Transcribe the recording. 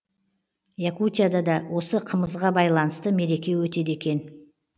якутияда да осы қымызға байланысты мереке өтеді екен